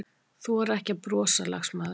Þora ekki að brosa, lagsmaður.